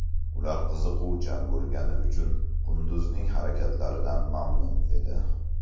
Ular qiziquvchan bo‘lgani uchun qunduzning harakatlaridan mamnun edi.